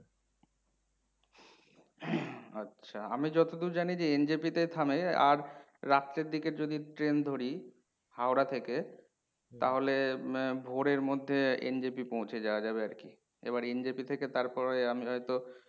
আচ্ছা। আমি যতদূর জানি যে NJP তে থামে আর রাত্রের দিকে যদি ট্রেন ধরি হাওড়া থেকে তাহলে আহ ভোরের মধ্যে NJP পৌঁছে যাওয়া যাবে আরকি। এবার NJP থেকে তারপরে আমি হয় তো